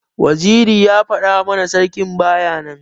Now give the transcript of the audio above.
Waziri ya fada mana sarki baya nan.